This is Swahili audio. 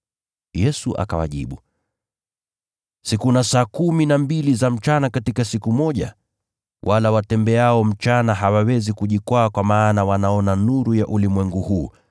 Yesu akawajibu, “Si kuna saa kumi na mbili za mchana katika siku moja? Wala watembeao mchana hawawezi kujikwaa kwa maana wanaona nuru ya ulimwengu huu.